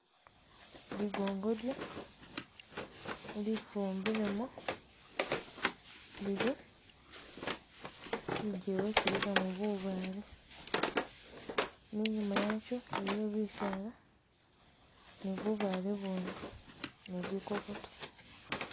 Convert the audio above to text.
Ligongodyo lifumbilemo lili kujijewa kilikamo bubaale ne inyuma wakyo iliyo bisaala, ni bubale ubindi ni zikokoto